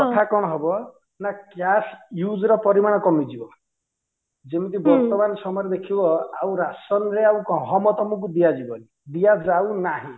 କଥା କଣ ହବ ନା cash use ର ପରିମାଣ କମିଯିବ ଯେମିତି ବର୍ତମାନ ସମୟରେ ଦେଖିବ ଆଉ ରାସନ ରେ ଆଉ ଗହମ ତମକୁ ଦିଆ ଯିବନି ଦିଆ ଯାଉନାହିଁ